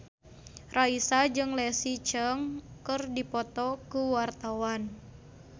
Raisa jeung Leslie Cheung keur dipoto ku wartawan